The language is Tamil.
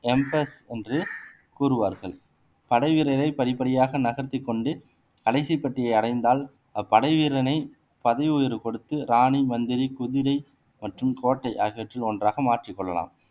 எம்பஸ் என்று கூறுவார்கள் படை வீரரை படிப்படியாக நகர்த்திக் கொண்டு கடைசி பெட்டியை அடைந்தால் அப்படைவீரனை பதவி உயர்வு கொடுத்து ராணி மந்திரி குதிரை மற்றும் கோட்டை ஆகியவற்றில் ஒன்றாக மாற்றிக் கொள்ளலாம்